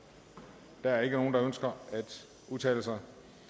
er der nogen der ønsker at udtale sig